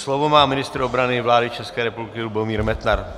Slovo má ministr obrany vlády České republiky Lubomír Metnar.